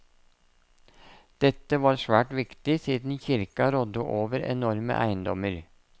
Dette var svært viktig siden kirka rådde over enorme eiendommer.